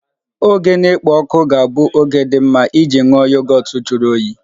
Oge na-ekpo ọkụ ga-abụ oge dị mma iji nwụọ Yogọt juru oyii